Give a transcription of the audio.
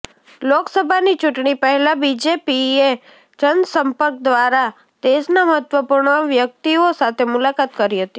લોકસભાની ચૂંટણી પહેલા બીજેપીએ જનસંપર્ક દ્રારા દેશના મહત્વપૂર્ણ વ્યક્તિઓ સાથે મૂલાકાત કરી હતી